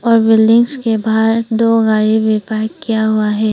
और बिल्डिंग्स के बाहर दो गाड़ी भी पार्क किया हुआ है।